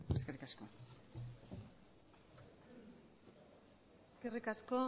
eskerrik asko eskerrik asko